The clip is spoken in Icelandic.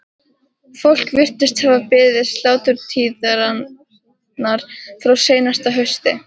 Fólk virtist hafa beðið sláturtíðarinnar frá seinasta hausti.